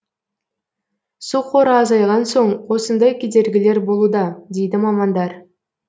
су қоры азайған соң осындай кедергілер болуда дейді мамандар